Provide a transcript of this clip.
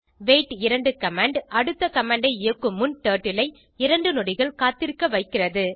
wait 2 command அடுத்த command ஐ இயக்கும் முன் டர்ட்டில் ஐ 2 நொடிகள் காத்திருக்க வைக்கிறது